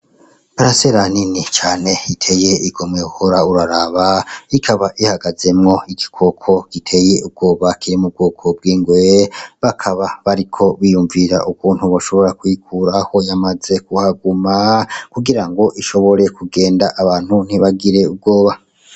Parasera nini cane iteye igomwe wohora uraraba ikaba ihagazemwo igikoko giteye ubwoba kiri m'ubwoko bwingwe bakaba bariko biyumvira ukuntu boshobora kuyikuraho yamaze kuhaguma kugirango ishobore kugenda abantu ntibagire ubwoba.